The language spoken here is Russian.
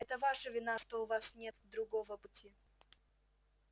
это ваша вина что у вас нет другого пути